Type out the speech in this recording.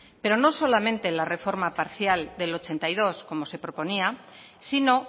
pero no solamente en la reforma parcial del ochenta y dos como se proponía sino